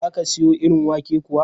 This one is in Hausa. Za ka siro irin wake kuwa?